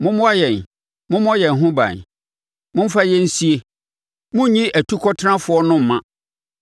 “Mommoa yɛn, mommɔ yɛn ho ban. Momfa yɛn nsie. Monnyi atukɔtenafoɔ no mma.